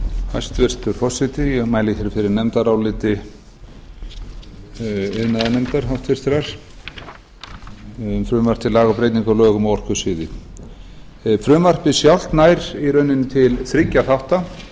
hæstvirtur forseti ég mæli fyrir nefndaráliti háttvirtur iðnaðarnefndar um frumvarp til laga um breytingu á lögum á orkusviði frumvarpið sjálft nær í rauninni til þriggja þátta